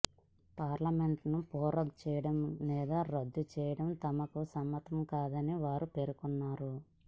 పార్లమెంటును prorogue చేయడం లేదా రద్దు చేయడం తమకు సమ్మతంకాదని వారు పేర్కొన్నారు